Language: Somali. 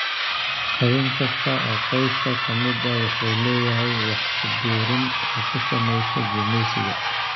Xubin kasta oo qoyska ka mid ah wuxuu leeyahay wax ku biirin uu ku sameeyo gumeysiga.